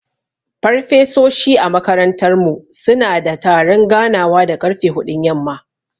Farfesoshi a makarantar mu suna da taron ganawa da ƙarfe huɗun yamma.